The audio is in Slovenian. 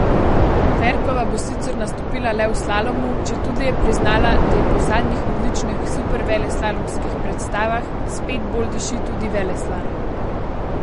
Ferkova bo sicer nastopila le v slalomu, četudi je priznala, da ji po zadnjih odličnih superveleslalomskih predstavah spet bolj diši tudi veleslalom.